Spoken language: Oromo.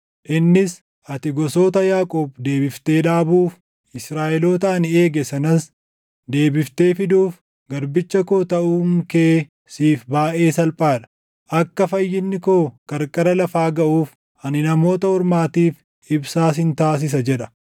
Innis, “Ati gosoota Yaaqoob deebiftee dhaabuuf, Israaʼeloota ani eege sanas deebiftee fiduuf garbicha koo taʼuun kee siif baayʼee salphaa dha. Akka fayyinni koo qarqara lafaa gaʼuuf ani Namoota Ormaatiif ibsaa sin taasisa” jedha.